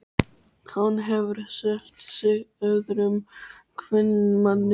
Hann hefur selt sig öðrum kvenmanni.